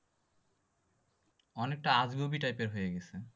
অনেকটা আজগুবি type এর হয়ে গেছে।